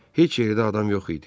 Heç yerdə adam yox idi.